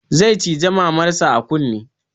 Zai cije maman sa a kunne